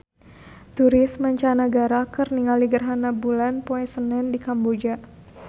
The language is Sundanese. Turis mancanagara keur ningali gerhana bulan poe Senen di Kamboja